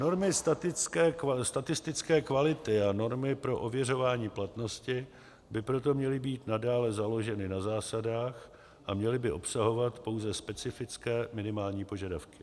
Normy statistické kvality a normy pro ověřování platnosti by proto měly být nadále založeny na zásadách a měly by obsahovat pouze specifické minimální požadavky.